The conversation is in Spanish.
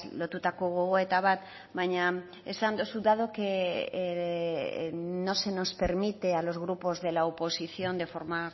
lotutako gogoeta bat baina esan duzu dado que no se nos permite a los grupos de la oposición de forma